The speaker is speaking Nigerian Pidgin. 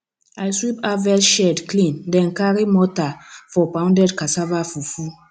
i sweep harvest shed clean then carry mortar for pounded cassava fufu